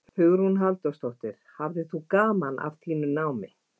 Hugrún Halldórsdóttir: Hafðir þú gaman af þínu námi?